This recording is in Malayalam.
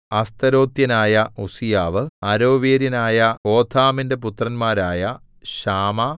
അസ്തെരാത്യനായ ഉസ്സീയാവ് അരോവേര്യനായ ഹോഥാമിന്റെ പുത്രന്മാരായ ശാമാ